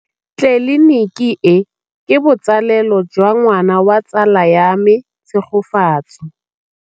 Tleliniki e, ke botsalêlô jwa ngwana wa tsala ya me Tshegofatso.